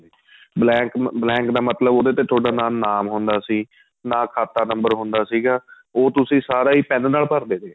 blank blank ਦਾ ਮਤਲਬ ਉਹਦੇ ਤੇ ਤੁਹਾਡਾ ਨਾ ਨਾਮ ਹੁੰਦਾ ਸੀ ਨਾ ਖਾਤਾਂ number ਹੁੰਦਾ ਸੀਗਾ ਉਹ ਤੁਸੀਂ ਸਾਰਾ ਹੀ pen ਨਾਲ ਭਰਦੇ ਸੀਗੇ